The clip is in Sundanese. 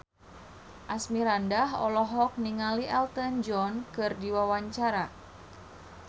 Asmirandah olohok ningali Elton John keur diwawancara